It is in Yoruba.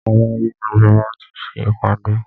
Àwọn ọmọ ìgbìmọ̀ ti ṣe ìpàdé.